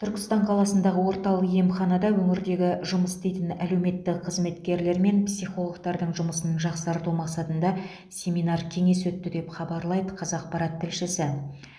түркістан қаласындағы орталық емханада өңірдегі жұмыс істейтін әлеуметтік қызметкерлер мен психологтардың жұмысын жақсарту мақсатында семинар кеңес өтті деп хабарлайды қазақпарат тілшісі